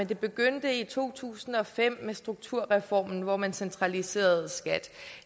det begyndte i to tusind og fem med strukturreformen hvor man centraliserede skat